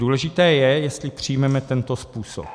Důležité je, jestli přijmeme tento způsob.